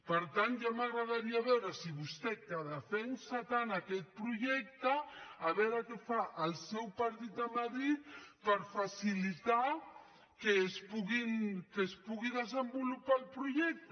per tant ja m’agradaria veure si vostè que defensa tant aquest projecte a veure què fa el seu partit a madrid per facilitar que es pugui desenvolupar el projecte